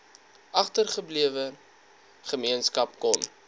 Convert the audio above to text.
agtergeblewe gemeenskap kon